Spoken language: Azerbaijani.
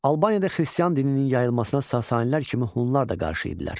Albaniyada xristian dininin yayılmasına sasanilər kimi hunlar da qarşı idilər.